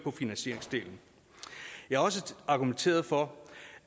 af finansieringsdelen jeg har også argumenteret for